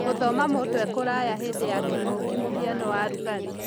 Gũthoma mũndũ ekũraya hĩndĩ ya kĩng'ũki mũhiano wa Rũgari